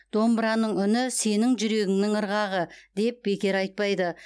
домбыраның үні сенің жүрегіңнің ырғағы деп бекер айтпайды